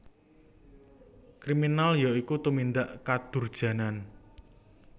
Kriminal ya iku tumindak kadurjanan